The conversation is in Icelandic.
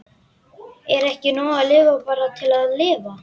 Er ekki nóg að lifa bara til að lifa?